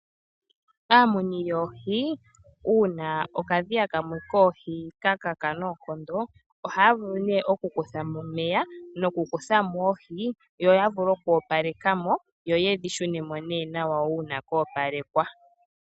Aamuni yoohi uuna okadhiya kamwe koohi ka kaka noonkondo, ohaya vulu nee okukutha mo omeya ,nokukutha mo oohi, yo ya vule okoopaleka mo, yoye dhi shune mo ne nawa uuna koopalekwa .